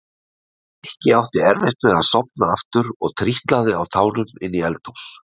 Nikki átti erfitt með að sofna aftur og trítlaði á tánum inn í eldhús.